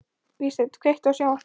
Vígsteinn, kveiktu á sjónvarpinu.